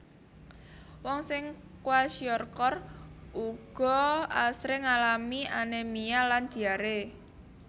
Wong sing kwashiorkor uga asring ngalami anémia lan diaré